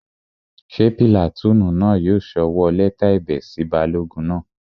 Ṣé pìlàtúùnù náà yóò sọwọ́ lẹ́tà ẹ̀bẹ̀ sí balógun náà?